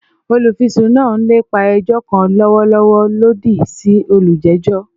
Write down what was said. Olufisun naa n lepa ẹjọ kan lọwọlọwọ lodi si olujejọ